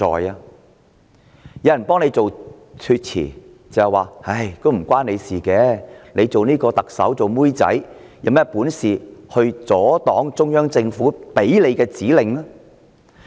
有人替她開脫，說與她無關，指她作為特首其實只是奴婢，有甚麼本事阻擋中央政府的指令。